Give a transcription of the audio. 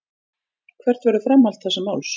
Hvert verður framhald þessa máls.